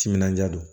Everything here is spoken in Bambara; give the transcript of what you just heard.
Timinandiya don